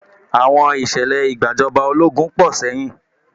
Àwọn Ìṣẹ̀lẹ̀ ìgbàjọba ológun pọ̀ sẹ́yìn